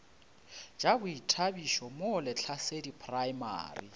tša boithabišo mo lehlasedi primary